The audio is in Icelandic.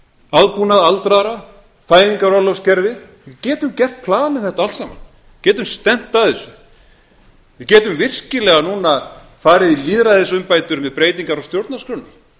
aðbúnað aldraðra fæðingarorlofskerfið við getum plan við þetta allt saman getum stefnt að þessu við getum virkilega núna farið í lýðræðisumbætur með breytingar á stjórnarskránni